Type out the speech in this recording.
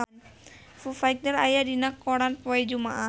Foo Fighter aya dina koran poe Jumaah